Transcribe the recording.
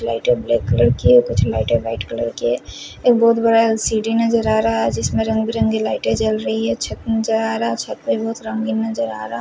लाइटें black colour की है कुछ लाइट वाइट कलर की है एक बहुत बड़ा सीढ़ी नजर आ रहा है जिसमें रंग बिरंगी लाइट चल रही है छत नजर आ रहा --